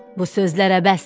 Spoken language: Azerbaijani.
Bu sözlərə bəsdir.